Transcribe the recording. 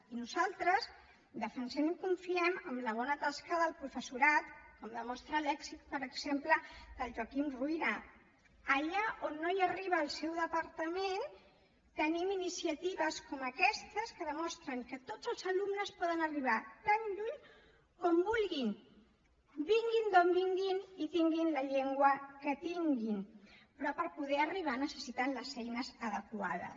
i nosaltres defensem i confiem en la bona tasca del professorat com demostra l’èxit per exemple del joaquim ruyra allà on no arriba el seu departament tenim iniciatives com aquestes que demostren que tots els alumnes poden arribar tan lluny com vulguin vinguin d’on vinguin i tinguin la llengua que tinguin però per poder arribar hi necessiten les eines adequades